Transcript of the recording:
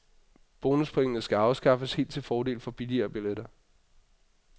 Bonuspointene skal afskaffes helt til fordel for billigere billetter.